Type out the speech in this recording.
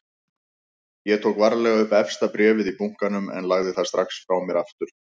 Ég tók varlega upp efsta bréfið í bunkanum en lagði það strax frá mér aftur.